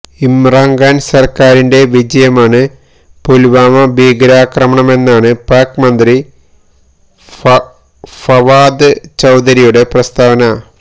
ഇമ്രാൻ ഖാൻ സർക്കാരിൻറെ വിജയമാണ് പുൽവാമ ഭീകരാക്രമണമെന്നാണ് പാക് മന്ത്രി ഫവാദ് ചൌധരിയുടെ പ്രസ്താവന